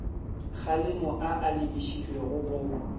kgalemo a a lebišitšweng go